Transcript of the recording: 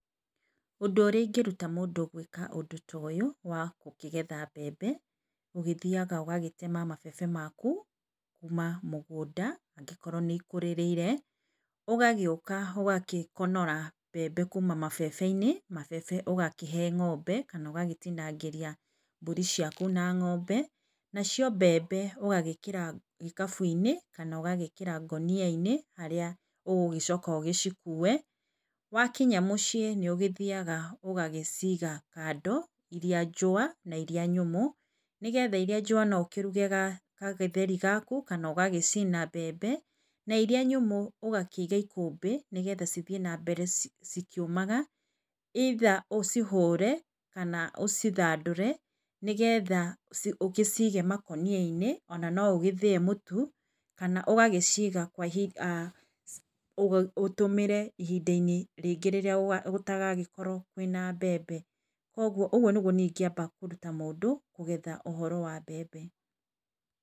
Ũndũ ũrĩa ingĩruta mũndũ gwĩka ũndũ ta ũyũ wa gũkĩgetha mbembe, ũgĩthiaga ũgagĩtema mabebe maku kuma mũgũnda angĩkorwo nĩikũrĩrĩire. Ũgagĩũka ũgagĩkonora mbembe kuma mabebe-inĩ. Mabebe ũgakĩhe ng'ombe, kana ũgagĩtinangĩria mbũri ciaku na ng'ombe, nacio mbembe ũgagĩkĩra gĩkabu -inĩ kana ũgagĩkĩra ngũnia-inĩ harĩa ũgũgĩcoka ũcikuĩ. Wa kinya mũciĩ nĩ ũgĩthiaga ũgagĩciaga kando, ĩrĩa njũwa na irĩa nyũmũ, nĩgetha irĩa njowa no ũkĩruge gagĩtheri gaku kana ũgagĩcina mbembe, na irĩa nyũmũ ũgakĩiga ikũmbĩ nĩgetha cithiĩ na mbere cikĩũmaga either ũcihũre kana ũcithandũre nĩgetha ũgĩcige makũnia-inĩ, ona no ũgĩthĩe mũtu. Kana ũgagĩciga kwa ihinda, ũtũmĩre ihinda-inĩ rĩngĩ rĩrĩa gũtagagĩkorwo kwĩna mbembe. Koguo ũguo nĩguo niĩ ingĩamba kũruta mũndũ kũgetha ũhoro wa mbembe.